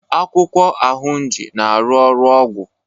akwụkwọ ahunji na aru ọrụ ọgwụ